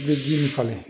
I bɛ ji min falen